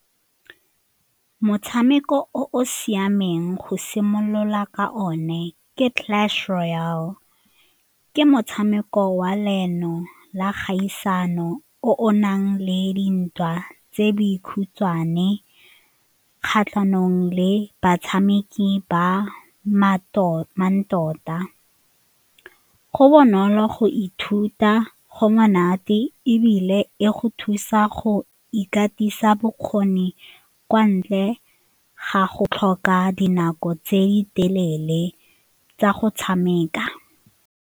Motshameko o o siameng go simolola ka o ne ke Clash Royale. Ke motshameko wa la kgaisano o nang le dintwa tse dikhutshwane kgatlhanong le batshameki ba go bonolo go ithuta, go monate ebile e go thusa go ikatisa bokgoni kwa ntle ga go tlhoka dinako tse di telele tsa go tshameka.